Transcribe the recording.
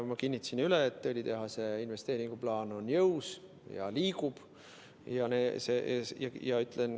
Ma kinnitasin üle, et õlitehase investeeringuplaan on jõus ja liigub edasi.